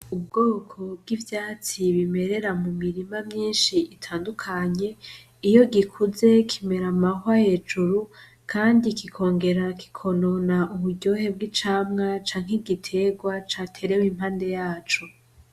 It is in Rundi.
Ubwoko b'ivyatsi bimerera mumirima myinshi itandukanye, iyo gikuze kimera amahwa hejuru kandi kikongera kikonona uburyohe bw'icamwa canke igiterwa caterewe impande yaco